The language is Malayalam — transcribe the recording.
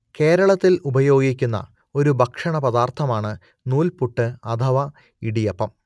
കേരളത്തിൽ ഉപയോഗിക്കുന്ന ഒരു ഭക്ഷണപദാർത്ഥമാണ് നൂൽപുട്ട് അഥവാ ഇടിയപ്പം